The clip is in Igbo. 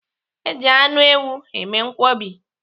Eji anụ ewu eme nkwobi.